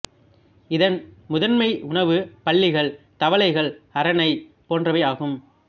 இதன் முதன்மை உணவு பல்லிகள் தவளைகள் அரணை போன்றவை ஆகும்